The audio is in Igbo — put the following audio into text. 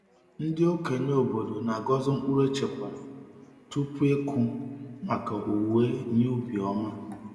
Ndị okenye obodo na-agọzi mkpụrụ echekwara tupu ịkụ maka owuwe ihe ubi ọma.